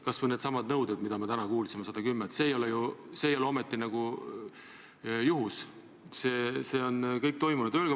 Kas või needsamad nõuded, mis me täna kuulsime, 110 000, see ei ole ometi juhus, see kõik on toimunud.